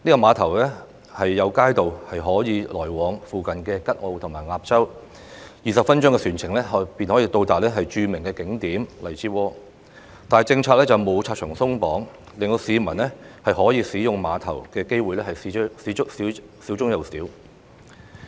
碼頭有街渡可以往來附近的吉澳和鴨洲 ，20 分鐘的船程便可以到達著名景點荔枝窩，但政策上卻沒有拆牆鬆綁，令市民可以使用碼頭的機會少之又少。